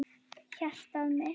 Hjartað mitt